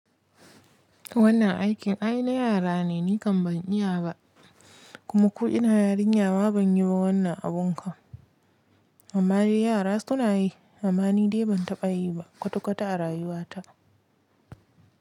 Wannan aikin ai na yara ne, ni kam ban iya ba, kuma ko ina yarinya ma banyi ba wannan abun ka. Amma dai yara suna yi, amma ni dai ban taɓa yi ba kwata kwata a rayuwata.